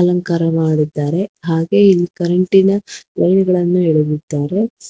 ಅಲಂಕಾರ ಮಾಡಿರುತ್ತಾರೆ ಹಾಗೆ ಇಲ್ಲಿ ಕರೆಂಟಿ ನ ಬಲ್ಬ್ ಗಳನ್ನು ಇಡಲಿದ್ದಾರೆ.